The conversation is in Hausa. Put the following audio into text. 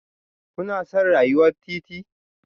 Kuna son rayuwar titi?